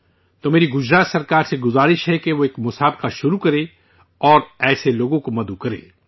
تو میری گجرات سرکار سے اپیل ہے کہ وہ ایک مقابلہ شروع کرے اور ایسے لوگوں کو مدعو کرے